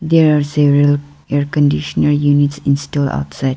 there are several air conditioner units install outside.